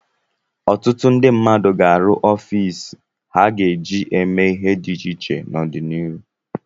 Ọtụtụ ndị mmadụ ga-arụ ọfiisi ha ga-eji eme ihe dị iche iche n'ọdịnihu.